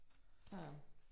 Så